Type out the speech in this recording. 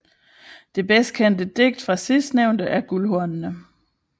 Det bedst kendte digt fra sidstnævnte er Guldhornene